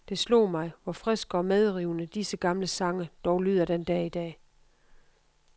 Det slog mig, hvor friske og medrivende disse gamle sange dog lyder den dag i dag.